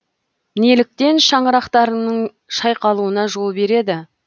неліктен шаңырақтарының шайқалуына жол береді